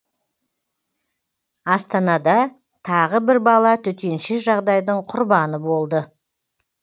астанада тағы бір бала төтенше жағдайдың құрбаны болды